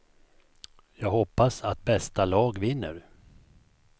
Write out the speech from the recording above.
Jag hoppas att bästa lag vinner.